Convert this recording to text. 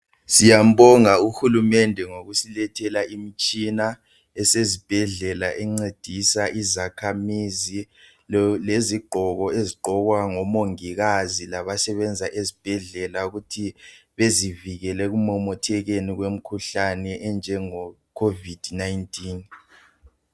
Siyambonga uhulumende ngokusilethela imitshina esezibhedlela encedisa izakhamizi, lezigqoko ezigqokwa ngomongikazi labasebenza ezibhedlela ukuthi bezivikele ekumemethekeni kwemikhuhlane enjenge COVID-19.